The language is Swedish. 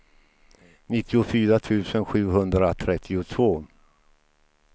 nittiofyra tusen sjuhundratrettiotvå